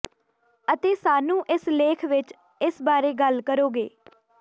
ਅਤੇ ਸਾਨੂੰ ਇਸ ਲੇਖ ਵਿਚ ਇਸ ਬਾਰੇ ਗੱਲ ਕਰੋਗੇ